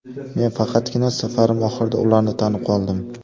Men faqatgina safarim oxirida ularni tanib qoldim.